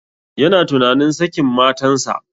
Yana tunanin sakin matan sa